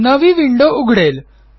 नवी विंडो उघडेल